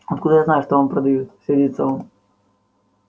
откуда я знаю что он продаёт сердится он